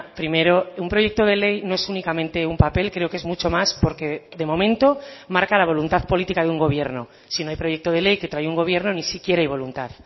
primero un proyecto de ley no es únicamente un papel creo que es mucho más porque de momento marca la voluntad política de un gobierno si no hay proyecto de ley que trae un gobierno ni siquiera hay voluntad